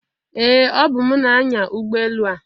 Ee! Ọbụ m na-anya ụgbọ elu a.